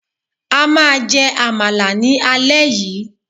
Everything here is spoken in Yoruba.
A maa je Amala ni ale yii